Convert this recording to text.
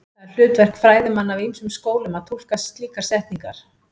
Það er hlutverk fræðimanna af ýmsum skólum að túlka slíkar setningar.